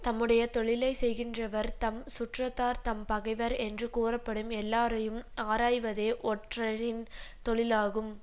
தம்முடைய தொழிலை செய்கின்றவர் தம் சுற்றத்தார் தம் பகைவர் என்றுக்கூறப்படும் எல்லாரையும் ஆராய்வதே ஒற்றரின் தொழிலாகும்